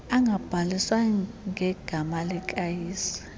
angabhaliswa ngegama likayise